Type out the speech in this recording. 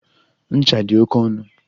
Ncha dị oke ọnụ.